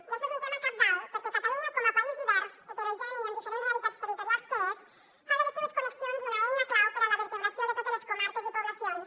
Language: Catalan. i això és un tema cabdal perquè catalunya com a país divers heterogeni i amb diferents realitats territorials que és fa de les seues connexions una eina clau per a la vertebració de totes les comarques i poblacions